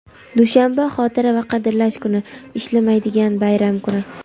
dushanba - Xotira va qadrlash kuni - ishlamaydigan bayram kuni.